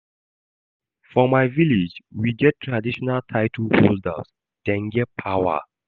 For my village, we get traditional title holders, dem get power.